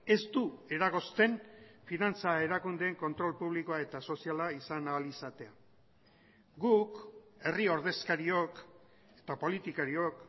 ez du eragozten finantza erakundeen kontrol publikoa eta soziala izan ahal izatea guk herri ordezkariok eta politikariok